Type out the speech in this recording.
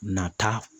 Nata